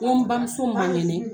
N ko n bamuso ma kɛnɛ